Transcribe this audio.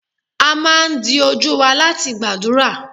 a ma dí ojú wa latí gbadurá